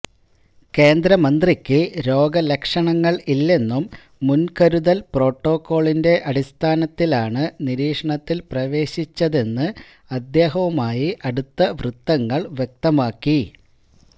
കേന്ദ്രമന്ത്രിക്ക് രോഗലക്ഷണങ്ങൾ ഇല്ലെന്നും മുൻകരുതൽ പ്രോട്ടോക്കോളിന്റെ അടിസ്ഥാനത്തിലാണ് നിരീക്ഷണത്തിൽ പ്രവേശിച്ചതെന്ന് അദ്ദേഹവുമായി അടുത്ത വൃത്തങ്ങൾ വ്യക്തമാക്കി